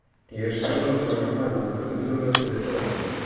я же сказал что все нормально нахуй ты второй раз переспрашиваешь